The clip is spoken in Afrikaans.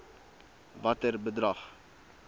watter bedrag